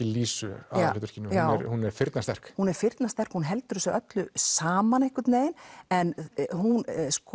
Lísu hún er firnasterk hún er firnasterk hún heldur þessu saman einhvern veginn en hún